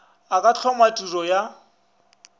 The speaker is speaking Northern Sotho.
o ka hloma tiro ya